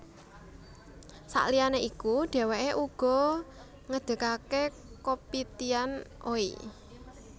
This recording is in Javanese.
Saliyane iku dheweke uga ngedegake Kopitiam Oey